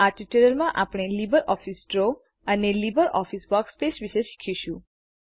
આ ટ્યુટોરીઅલમાં આપણે લીબરઓફીસ ડ્રો અને લીબરઓફીસ વર્કસ્પેસ વિષે શીખીશું